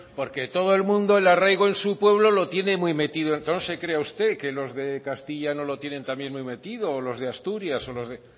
porque todo el mundo el arraigo en su pueblo lo tiene muy metido no se crea usted que los de castilla no lo tienen también muy metido o los de asturias o los de